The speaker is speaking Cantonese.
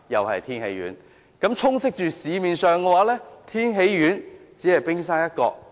市面上的產品中，天喜丸只是冰山一角。